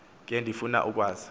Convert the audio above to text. ke ndifuna ukwazi